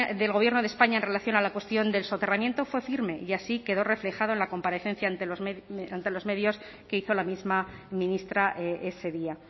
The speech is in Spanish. del gobierno de españa en relación a la cuestión del soterramiento fue firme y así quedó reflejado en la comparecencia ante los medios que hizo la misma ministra ese día